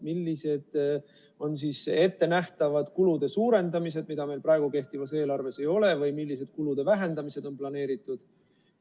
Millised on ettenähtavad kulude suurendamised, mida meil praegu kehtivas eelarves ei ole, või millised kulude vähendamised on planeeritud?